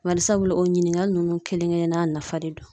Bari sabu o ɲininkali ninnu kelen kelenna nafa de don